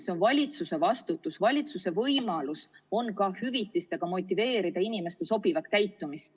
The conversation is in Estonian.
See on valitsuse vastutus ja valitsusel on võimalik hüvitistega motiveerida inimesi sobivalt käituma.